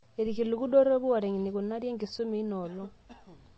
Irkiliku dorropu oota eneikunari enkisuma eina olong'